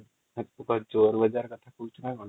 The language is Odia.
|